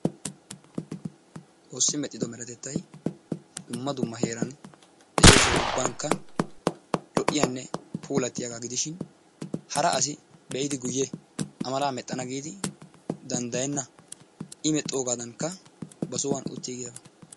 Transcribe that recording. Xoossi medhdhido meretettay dumma dumma heeran de'iyo soho ubbankka lo"iyanne puulattiyagaa gidishin hara asi be'idi guyye a mala mexxana giidi danddayennna. I mexxoogaadankka ba sohuwan uttiigiyabaa.